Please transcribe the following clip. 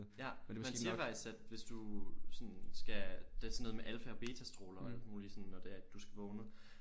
Ja man siger faktisk at hvis du sådan skal det er sådan noget med alfa og betastråler og alt muligt sådan når det er at du skal vågne